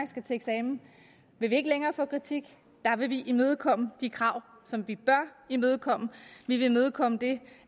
skal til eksamen vil vi ikke længere få kritik der vil vi imødekomme de krav som vi bør imødekomme vi vil imødekomme det